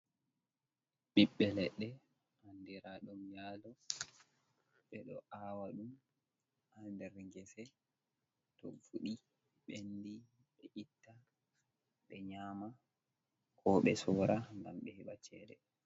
Ɓiɓɓe leɗɗe andira ɗum nyalo, ɓe ɗo awa ɗum ha nder gese to fuɗi ɓendi ɓe itta ɓe nyama ko ɓe sora gam ɓe heɓa cede.